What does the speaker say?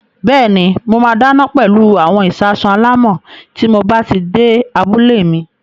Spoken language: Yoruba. Bẹ́ẹ̀ni, mo máa dáná pẹlú àwọn ìṣasùn alámọ̀ tí mob á ti dé abúlé mi.